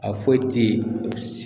A foyi te s